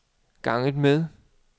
ganget med